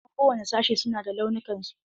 Ɗaliban kowane sashi su na da launukan su.